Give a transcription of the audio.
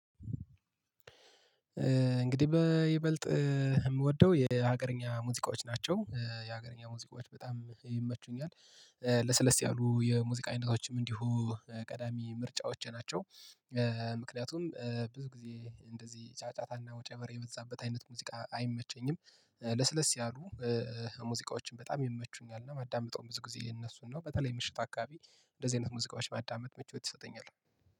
እንግዲህ በይበልጥ የምወደው የሀገርኛ ሙዚቃዎች ናቸው የሀገርኛ ሙዚቃዎች በጣም ይመቹኛል። ለስለስ ያሉ የሙዚቃ አይነቶችም እንዲሁ ቀዳሚ ምርጫዎቼ ናቸው። ምክንያቱም ብዙ ጊዜ እንደዚህ ጫጫታና ወጨበር የበዛበት አይነት ሙዚቃ አይመቸኝም ለስለስ ያሉ ሙዚቃዎችን በጣም ይመቹኛል እና የማዳምጠው ብዙ ጊዜ እነሱን ነው። በተለይ ምሽት አካባቢ እንደዚህ አይነት ሙዚቃዎች ማዳመጥ ምቾት ይሰጠኛል።